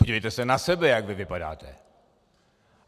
Podívejte se na sebe, jak vy vypadáte!